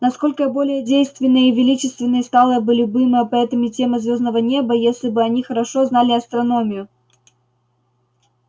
насколько более действенной и величественной стала бы любимая поэтами тема звёздного неба если бы они хорошо знали астрономию